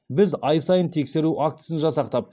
біз ай сайын тексеру актісін жасақтап